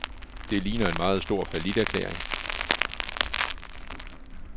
Det ligner en meget stor falliterklæring.